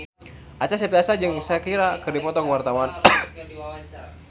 Acha Septriasa jeung Shakira keur dipoto ku wartawan